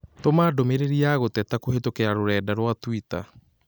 Tũma ndũmĩrĩri ya gũteta kũhĩtũkĩra rũrenda rũa tũita